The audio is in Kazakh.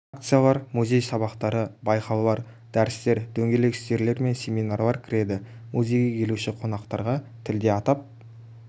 акциялар музей сабақтары байқаулар дәрістер дөңгелек үстелдер мен семинарлар кіреді музейге келуші қонақтарға тілде атап